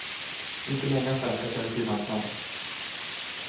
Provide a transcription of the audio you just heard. Inte många svenskar känner till hans namn.